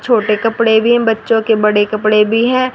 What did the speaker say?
छोटे कपड़े भी बच्चों के बड़े कपड़े भी हैं।